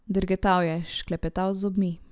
Drgetal je, šklepetal z zobmi.